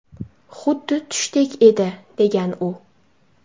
Xuddi tushdek edi”, degan u.